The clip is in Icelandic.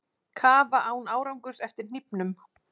Kafa án árangurs eftir hnífnum